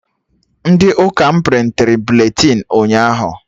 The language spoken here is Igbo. Ndị ụka m prịntịrị buletịn ụnyaahụ